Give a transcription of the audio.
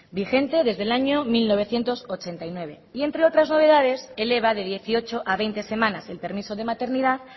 vigente desde el año mil novecientos ochenta y nueve y entre novedades eleva de dieciocho a veinte semanas el permiso de maternidad